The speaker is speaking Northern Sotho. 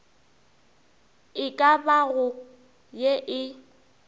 e ka bago ye e